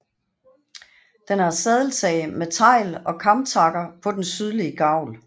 Den har sadeltag med tegl og kamtakker på den sydlige gavl